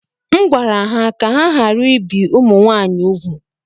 M gwara ha ka ha ghara ibi ụmụ m nwaanyị úgwù